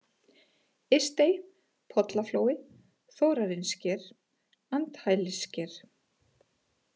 Ystey, Pollaflói, Þórarinssker, Andhælissker